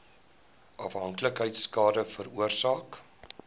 afhanklikheid skade veroorsaak